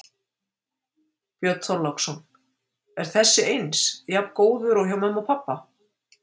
Björn Þorláksson: Er þessi eins, jafn góður og hjá mömmu og pabba?